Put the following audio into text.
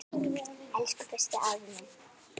Elsku besti, afi minn.